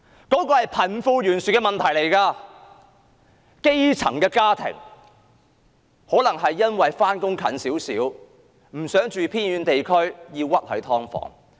這是貧富懸殊的問題，基層家庭或因為上班較近，不想住在偏遠地區而屈居於"劏房"。